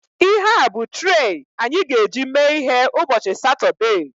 Ihea bụ trei anyị ga-eji mee ihe ụbọchị Satọdee